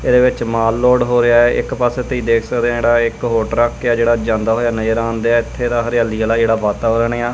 ਇਹਦੇ ਵਿੱਚ ਮਾਲ ਲੋਡ ਹੋ ਰਿਹਾ ਹੈ ਇੱਕ ਪਾਸੇ ਤੁਹੀ ਦੇਖ ਸਕਦੇ ਹੋ ਜਿਹੜਾ ਇੱਕ ਹੋਰ ਟਰੱਕ ਹੈ ਜਿਹੜਾ ਜਾਂਦਾ ਹੋਇਆ ਨਜਰ ਆਂਦੈ ਇੱਥੇ ਦਾ ਹਰਿਆਲੀ ਆਲਾ ਜਿਹੜਾ ਵਾਤਾਵਰਣ ਏ ਆ।